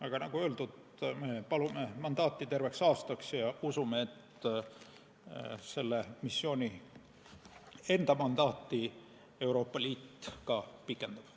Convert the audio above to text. Aga nagu öeldud, me palume mandaati terveks aastaks ja usume, et selle missiooni enda mandaati Euroopa Liit samuti pikendab.